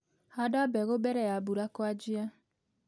Handa mbegu mbere ya mbura kũanjia.